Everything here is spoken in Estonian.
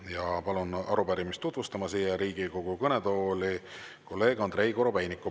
Ja palun arupärimist tutvustama siia Riigikogu kõnetooli kolleeg Andrei Korobeiniku.